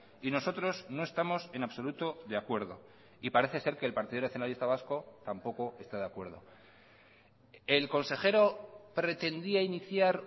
y nosotros no estamos en absoluto de acuerdo y parece ser que el partido nacionalista vasco tampoco está de acuerdo el consejero pretendía iniciar